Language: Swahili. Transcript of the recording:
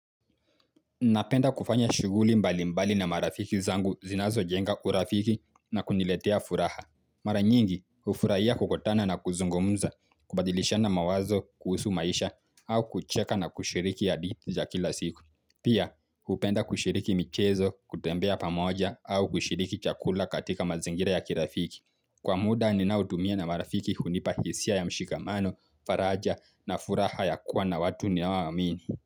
Napenda kufanya shughuli mbali mbali na marafiki zangu zinazo jenga urafiki na kuniletea furaha. Mara nyingi, ufurahia kukutana na kuzungumza, kubadilishana mawazo, kuhusu maisha, au kucheka na kushiriki hadithi za kila siku. Pia, upenda kushiriki michezo, ya kutembea pamoja, au kushiriki chakula katika mazingira ya kirafiki. Kwa muda, ninautumia na marafiki hunipa hisia ya mshikamano, faraja na furaha ya kuwa na watu ninaowamini.